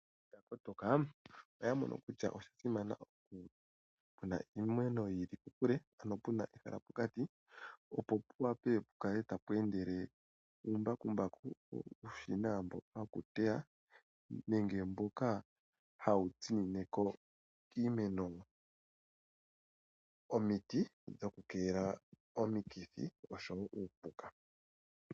Ontoka oya mono kutya oya simana iimeno yiili kokule ano pena ehala pokati opo pu wape okukala tapu endele mbakumbaku, uushina mboka woku teya nenge mboka hawu tsinine ko kiimeno omiti dhoku keelela omikithi oshowo uupuka.